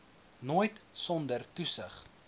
nooit sonder toesig